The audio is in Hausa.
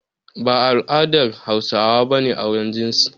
Ba a al'adar Hausawa ba ne auren jinsi.